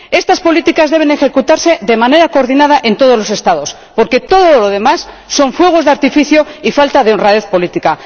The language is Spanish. Estas políticas debe ejecutarse de manera coordinada en todos los Estados porque todo lo demás son fuegos de artificio y falta de honradez política.